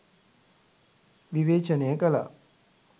විවේචනය කලා.